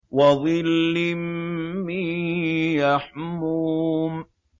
وَظِلٍّ مِّن يَحْمُومٍ